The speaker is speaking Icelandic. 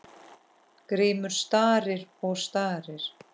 Grímur starir og starir.